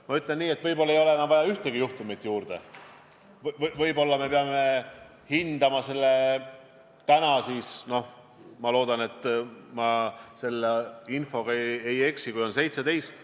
Ma ütlen nii, et võib-olla ei ole enam ühtegi juhtumit juurde vaja, võib-olla peame lähtuma sellest tänasest olukorrast, kui haigestunuid on – ma loodan, et ma selle infoga ei eksi – 17.